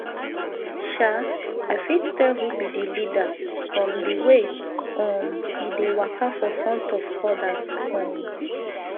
i fit tell who be the leaderfrom the way um e dey waka for front of others um um i fit tell who be the leader from the way um e dey waka for front of others um